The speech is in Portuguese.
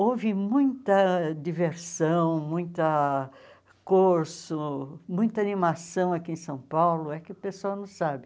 Houve muita diversão, muita curso, muita animação aqui em São Paulo, é que o pessoal não sabe.